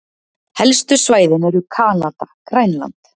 Helstu svæðin eru Kanada-Grænland